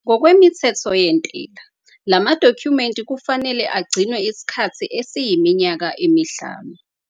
Ngokwemithetho yentela, lama dokhumenti kufanele agcinwe isikhathi esiyiminyaka emihlanu.